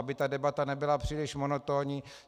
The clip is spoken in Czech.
Aby ta debata nebyla příliš monotónní.